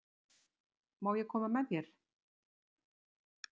Má ég koma með þér?